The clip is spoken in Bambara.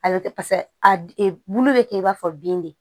A bɛ kɛ paseke a bulu bɛ kɛ i b'a fɔ bin de